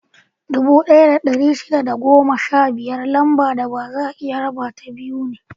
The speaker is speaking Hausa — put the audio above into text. Dubu ɗaya da ɗari shida da goma sha biyar Lambar da baza a iya rabata biyu ne.